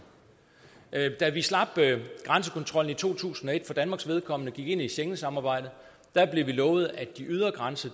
da vi slap grænsekontrollen i to tusind og et for danmarks vedkommende og gik ind i schengensamarbejdet blev vi lovet at de ydre grænser